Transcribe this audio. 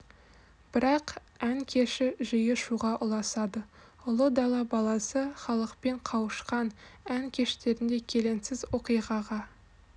бірақ ән кеші жиі шуға ұласады ұлы дала баласы халықпен қауышқан ән кештерінде келеңсіз оқиғаға